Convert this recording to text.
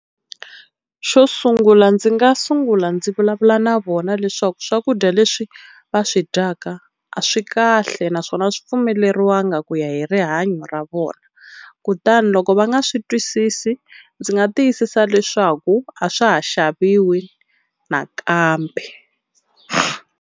Xo sungula ndzi nga sungula ndzi vulavula na vona leswaku swakudya leswi va swi dyaka a swi kahle naswona a swi pfumeleriwanga ku ya hi rihanyo ra vona, kutani loko va nga swi twisisi ndzi nga tiyisisa leswaku a swa ha xaviwi nakambe.